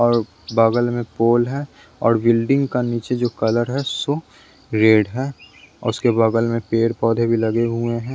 और बगल में पोल है और बिल्डिंग का नीचे जो कलर है सो रेड है और उसके बगल में पेड़ पौधे भी लगे हुए हैं।